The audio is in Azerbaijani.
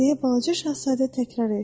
Deyə balaca Şahzadə təkrarladı.